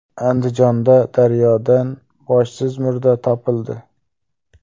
Andijonda daryodan boshsiz murda topildi.